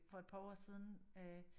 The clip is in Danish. For et par år siden øh